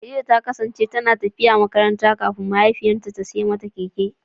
Khadija ta kasance tana tafiya makaranta kafin mahaifinta ya siyo mata keke.